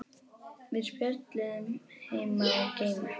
Við spjölluðum um heima og geima.